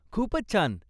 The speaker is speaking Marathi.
खूपच छान.